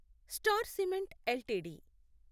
star Cement LTD